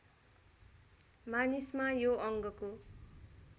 मानिसमा यो अङ्गको